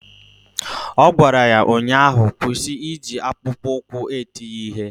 Ọ gwara ya ụnyaahụ "Kwụsị iji akpụkpọụkwụ eti ya ihe"!